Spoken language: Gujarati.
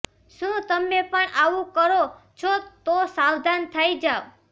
શુ તમે પણ આવું કરો છો તો સાવધાન થઇ જાવ